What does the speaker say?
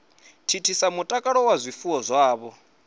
thithisa mutakalo wa zwifuwo zwavho